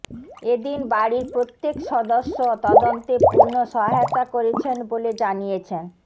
এদিন বাড়ির প্রত্যেক সদস্য তদন্তে পূর্ণ সহায়তা করেছেন বলে জানিয়েছেন